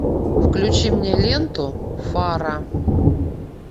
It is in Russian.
включи мне ленту фара